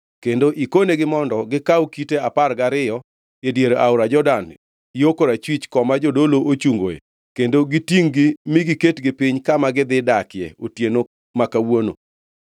kendo ikonegi mondo gikaw kite apar gariyo e dier aora Jordan yo korachwich koma jodolo ochungoe kendo gitingʼ-gi mi giketgi piny kama gidhi dakie otieno ma kawuono.”